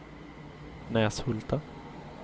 Näshulta